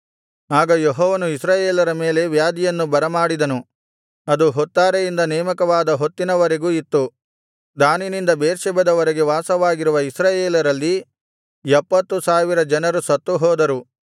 ಆಗ ಯೆಹೋವನು ಇಸ್ರಾಯೇಲರ ಮೇಲೆ ವ್ಯಾಧಿಯನ್ನು ಬರಮಾಡಿದನು ಅದು ಹೊತ್ತಾರೆಯಿಂದ ನೇಮಕವಾದ ಹೊತ್ತಿನ ವರೆಗೂ ಇತ್ತು ದಾನಿನಿಂದ ಬೇರ್ಷೆಬದ ವರೆಗೆ ವಾಸವಾಗಿರುವ ಇಸ್ರಾಯೇಲರಲ್ಲಿ ಎಪ್ಪತ್ತು ಸಾವಿರ ಜನರು ಸತ್ತುಹೋದರು